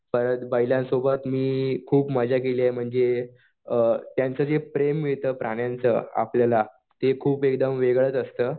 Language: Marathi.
परत बैलांसोबत मी खुप मजा केली आहे म्हणजे अ त्यांचं जे प्रेम मिळतं प्राण्यांचं आपल्याला ते खूप एकदम वेगळंच असतं.